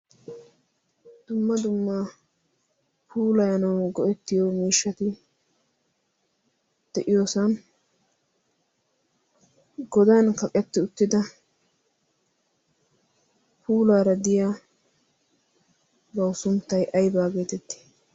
dumma dumma puulaanawu go'ettiyo miishshati de'iyoosan godan kaqetti uttida puulaara diya bau sunttai aybaa geetetti?